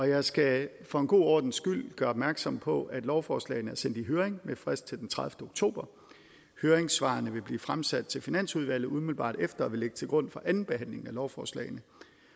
jeg skal for god ordens skyld gøre opmærksom på at lovforslagene er sendt i høring med frist til den tredivete oktober og høringssvarene vil blive fremsendt til finansudvalget umiddelbart efter og vil ligge til grund for andenbehandlingen af lovforslagene